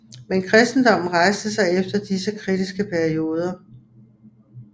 Men kristendommen rejste sig efter disse kritiske perioder